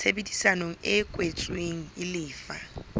tshebedisano e kwetsweng e lefa